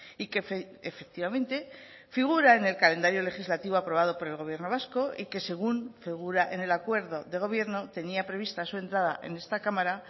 y que efectivamente figura en el calendario legislativo aprobado por el gobierno vasco y que según figura en el acuerdo de gobierno tenía prevista su entrada en esta cámara